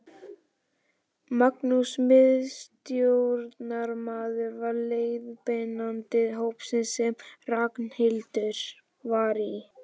Magnús miðstjórnarmaður var leiðbeinandi hópsins sem Ragnhildur var í.